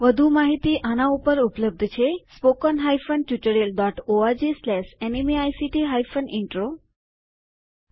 વધુ માહિતી આના ઉપર ઉપલબ્ધ છે httpspoken tutorialorgNMEICT Intro આ tutorial DesiCrew solutions private limited દ્વારા યોગદાન થયેલ છે